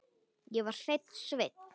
Ég var hreinn sveinn.